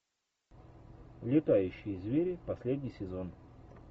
летающие звери последний сезон